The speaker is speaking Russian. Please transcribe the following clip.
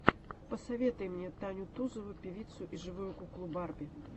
посоветуй мне таню тузову певицу и живую куклу барби